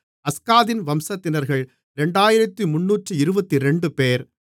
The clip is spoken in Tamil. அஸ்காதின் வம்சத்தினர்கள் 2322 பேர்